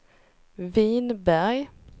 Vinberg